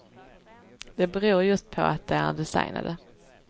Det beror just på att de är designade.